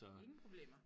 Ingen problemer